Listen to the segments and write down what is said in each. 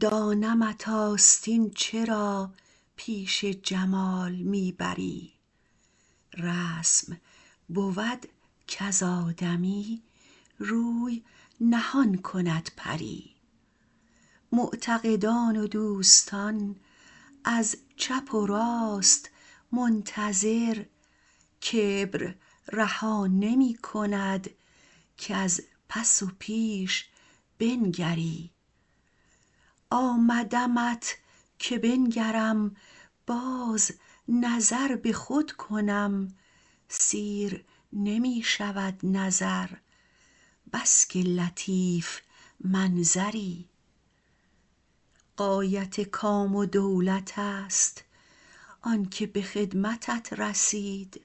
دانمت آستین چرا پیش جمال می بری رسم بود کز آدمی روی نهان کند پری معتقدان و دوستان از چپ و راست منتظر کبر رها نمی کند کز پس و پیش بنگری آمدمت که بنگرم باز نظر به خود کنم سیر نمی شود نظر بس که لطیف منظری غایت کام و دولت است آن که به خدمتت رسید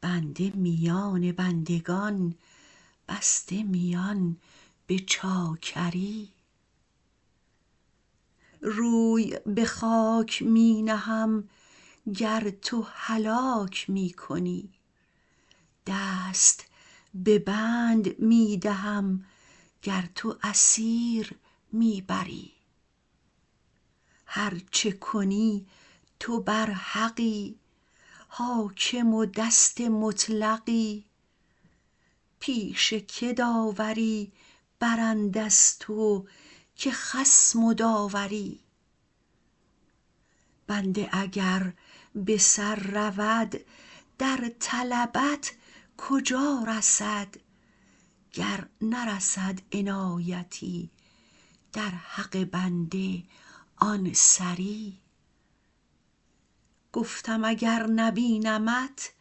بنده میان بندگان بسته میان به چاکری روی به خاک می نهم گر تو هلاک می کنی دست به بند می دهم گر تو اسیر می بری هر چه کنی تو برحقی حاکم و دست مطلقی پیش که داوری برند از تو که خصم و داوری بنده اگر به سر رود در طلبت کجا رسد گر نرسد عنایتی در حق بنده آن سری گفتم اگر نبینمت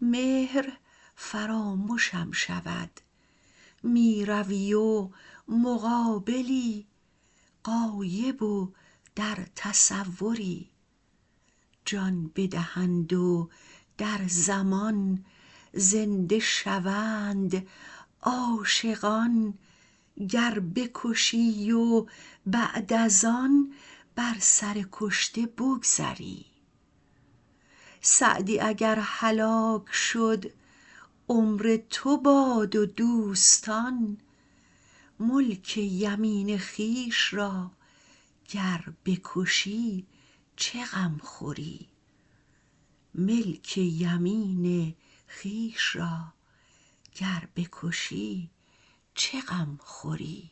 مهر فرامشم شود می روی و مقابلی غایب و در تصوری جان بدهند و در زمان زنده شوند عاشقان گر بکشی و بعد از آن بر سر کشته بگذری سعدی اگر هلاک شد عمر تو باد و دوستان ملک یمین خویش را گر بکشی چه غم خوری